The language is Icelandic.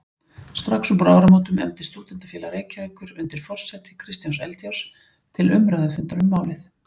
Strax uppúr áramótum efndi Stúdentafélag Reykjavíkur undir forsæti Kristjáns Eldjárns til umræðufundar um málið.